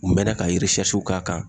U mɛnna ka k'a kan.